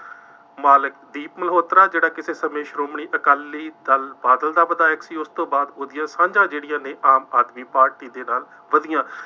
ਮਾਲਕ ਦੀਪ ਮਲਹੋਤਰਾ ਜਿਹੜਾ ਕਿਸੇ ਸਮੇਂ ਸ਼੍ਰੋਮਣੀ ਅਕਾਲੀ ਦਲ ਬਾਦਲ ਦਾ ਵਿਧਾਇਕ ਸੀ, ਉਸ ਤੋਂ ਬਾਅਦ ਉਹਦੀਆਂ ਸਾਂਝਾਂ ਜਿਹੜੀਆਂ ਨੇ ਆਮ ਆਦਮੀ ਪਾਰਟੀ ਦੇ ਨਾਲ ਵਧੀਆਂ।